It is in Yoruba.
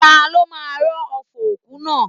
Ta ló máa rọ́ ọfọ̀ òkú náà.?